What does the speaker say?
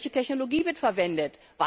Welche Technologie wird verwendet?